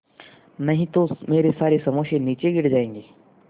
नहीं तो मेरे सारे समोसे नीचे गिर जायेंगे